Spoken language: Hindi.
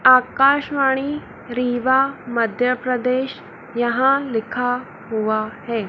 आकाशवाणी रीवा मध्य प्रदेश यहां लिखा हुआ है।